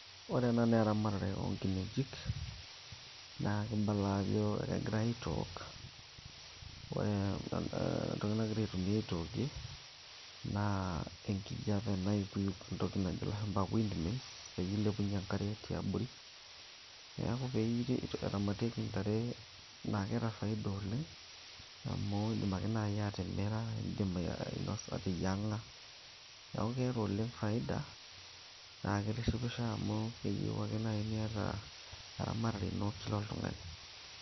ore ena naa eramatare oonkinejik naa kibala ajo egiray aitook wore entoki nagiray aitumia aitookie naa enkijape nayukuyuk entoki najo ilashumba windmills peyie ilepunyie enkare tiabori neeku peiti eramatieki intare naa keeta faida oleng amu indim ake naaji atimira indim ainosa ateyieng'a neeku keeta oleng faida naa kitishipisho amu keyieu ake naaji niata eramatare ino kila oltung'ani.